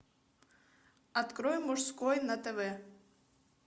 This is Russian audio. открой мужской на тв